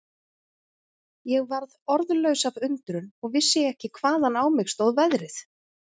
Ég varð orðlaus af undrun og vissi ekki hvaðan á mig stóð veðrið.